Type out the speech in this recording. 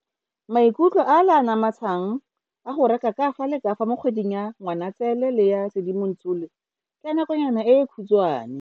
Maikutlo ale a a namatshang a go reka kafa le kafa mo kgweding ya Ngwaniatsele le ya Sedimonthole ke a nakonyana e e khutshwane.